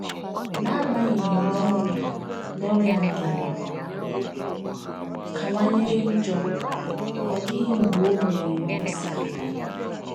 N’agbanyeghị na ọrịa na ọrịa Ngene kawanyere njọ, ọ dịghị mgbe o mere mkpesa.